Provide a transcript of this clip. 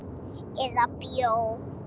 Eða bjó.